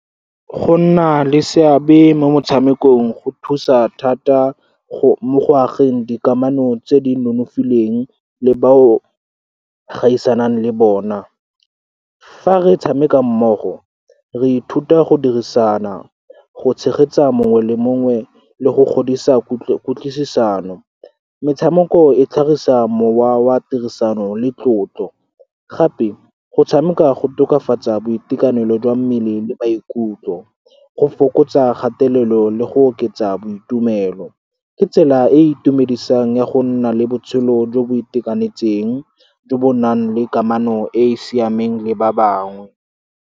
Go nna le seabe mo motshamekong go thusa thata mo go ageng dikamano tse di nonofileng le bao gaisanang le bone. Fa re tshameka mmogo, re ithuta go dirisana, go tshegetsa mongwe le mongwe le go godisa kutlwisano. Metshameko e tlhagisa mowa wa tirisano le tlotlo. Gape, go tshameka go tokafatsa boitekanelo jwa mmele le maikutlo, go fokotsa kgatelelo le go oketsa boitumelo. Ke tsela e e itumedisang ya go nna le botshelo jo bo itekanetseng, jo bo nang le kamano e e siameng le ba bangwe.